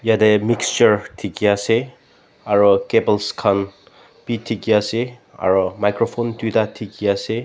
yete mixture dekhi ase aro cables khan bi dekhi ase aro microphone tuida dekhi ase.